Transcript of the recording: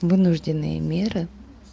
вынужденные меры